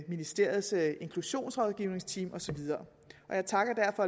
ministeriets inklusionsrådgivningteam og så videre jeg takker derfor